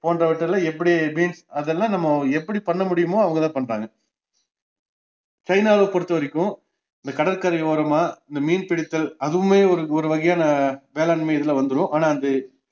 போன்றவற்றில்ல எப்படி beans அதெல்லாம் நம்ம எப்படி பண்ண முடியுமோ அவங்கதான் பண்றாங்க சைனாவ பொருத்தவரைக்கும் இந்த கடற்கரை ஓரமா இந்த மீன்பிடித்தல் அதுவுமே ஒரு ஒருவகையான வேளாண்மை இதுல வந்துரும் ஆனா அது